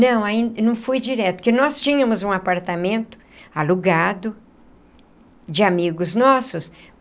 Não, aí não fui direto, porque nós tínhamos um apartamento alugado... de amigos nossos.